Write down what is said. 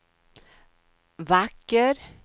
vacker